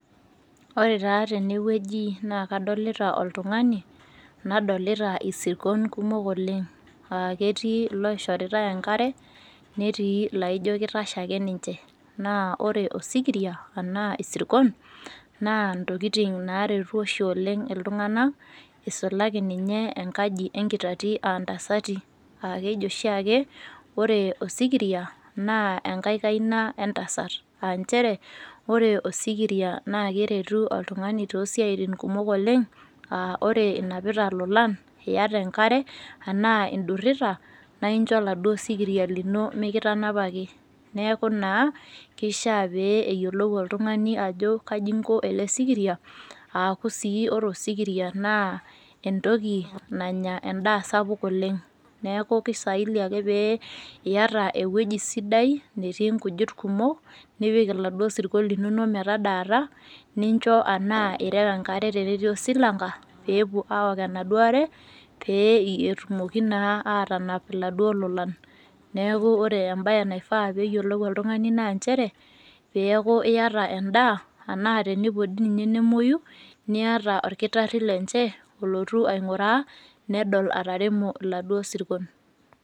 Ore taa tenewueji naa kadolita oltung'ani nadolita isirkon kumok oleng' aaketii loishoritai enkare netii laaijo keitashe ake ninche. Naa ore osikiria anaa isirkon naa ntokitin naaretu oshi oleng' iltung'ana eisulaki ninye enkaji enkitati aantasati aakeji oshiake ore osikiria naa engai kaina entasat. Aanchere ore osikiria naakeretu oltung'ani toosiaitin kumok oleng' [aa] ore inapita lolan, iyata enkare anaa indurrita naaincho laduo sikiria lino mikitanapaki neaku naa keishiaa pee eyiolou oltung'ani ajo kaji inko ele sikiria aaku sii ore osikiria naa entoki nanya endaa sapuk oleng'. Neaku keistahili ake pee iata ewueji sidai netii nkujit kumok nipik iladuo sirkon linonok metadaata nincho anaa ireu enkare tenetii osilanka peepuo awok enaduo are pee etumoki naa aatanapa laduo lolan. Neaku ore embaye naidaa peeyiolou oltung'ani naa nchere peeyaku iata endaa anaa tenepuo dii ninye nemuoyu niata olkitarri lenche olotu aing'uraa nedol ataremo laduo sirkon.